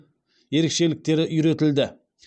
ерекшеліктері үйретілді